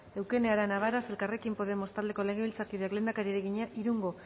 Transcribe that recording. eukene arana varas elkarrekin podemos taldeko legebiltzarkideak lehendakariari egina irungo